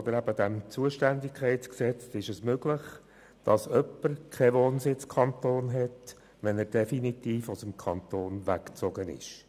Gemäss ZUG ist es möglich, dass jemand keinen Wohnsitzkanton hat, wenn er definitiv aus dem Kanton weggezogen ist.